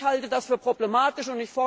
Ich halte das für problematisch.